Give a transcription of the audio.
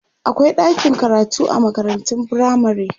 akwai ɗakin karatu a makarantun firamare